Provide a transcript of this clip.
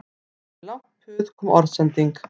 Eftir langt puð kom orðsending